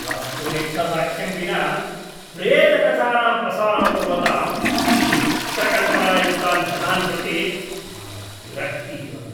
वस्तुनिष्ठसाक्ष्यं विना प्रेतकथानां प्रसारं कुर्वतां विचित्रकल्पनायुक्तान् जनान् प्रति मम विरक्तिः वर्तते।